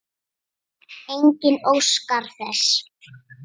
Enginn óskar þess.